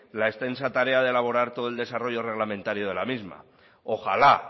la extensa tarea de laborar todo el desarrollo reglamentario de la misma ojalá